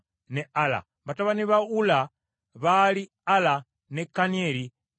Batabani ba Ulla baali Ala, ne Kanieri ne Liziya.